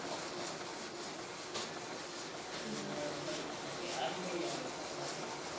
ਸਵੇਰੇ ਬਹੀਏ ਨੂੰ ਕਿਹਾਂ ਸੀ ਬਹਿਆ ਵੇਖੋ ਆਉਂਦਾ ਕਿ ਨਹੀਂ